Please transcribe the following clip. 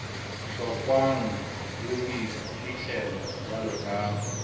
hlokwang le boiphihlelo jwalo ka